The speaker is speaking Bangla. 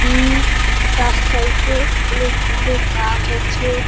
তার সাইড -এ অনেক গুলো গাছ আছে |